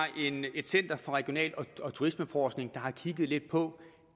et center for regional og turismeforskning der har kigget lidt på